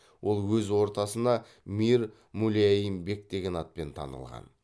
ол өз ортасына мир мулайим бек деген атпен танылған